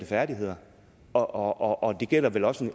færdigheder og og det gælder vel også